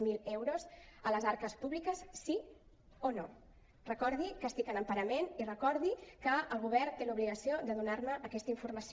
zero euros de les arques públiques sí o no recordi que estic en emparament i recordi que el govern té l’obligació de donar me aquesta informació